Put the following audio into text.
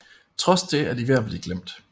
Trods det er de ved at blive glemt